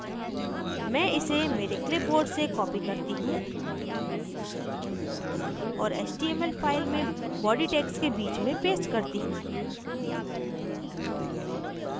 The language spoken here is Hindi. मैं इसे मेरे clipboard से copy करती हूँ और html file में body tags के बीच में paste करती हूँ